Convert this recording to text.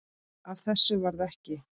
Af þessu varð ekki.